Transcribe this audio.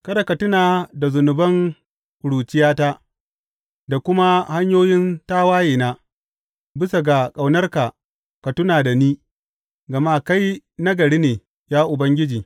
Kada ka tuna da zunuban ƙuruciyata da kuma hanyoyin tawayena; bisa ga ƙaunarka ka tuna da ni, gama kai nagari ne, ya Ubangiji.